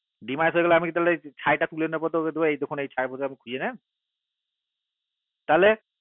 তালে dammit হয়ে গেলে আমি তালে তালে তুলে নেবো গেলে দিয়ে নেয় তালে